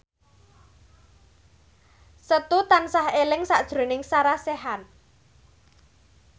Setu tansah eling sakjroning Sarah Sechan